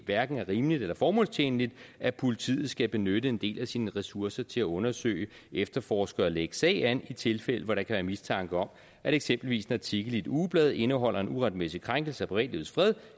hverken er rimeligt eller formålstjenligt at politiet skal benytte en del af sine ressourcer til at undersøge efterforske og lægge sag an i tilfælde hvor der kan være mistanke om at eksempelvis en artikel i et ugeblad indeholder en uretmæssig krænkelse af privatlivets fred